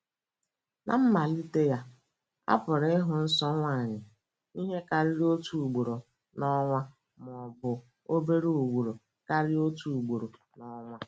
Ná mmalite ya, a pụrụ ịhụ nsọ nwanyị ihe karịrị otu ugboro n’ọnwa, ma ọ bụ obere ugboro karịa otu ugboro n’ọnwa.